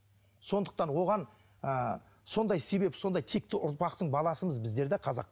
сондықтан оған ыыы сондай себеп сондай текті ұрпақтың баласымыз біздер де қазақ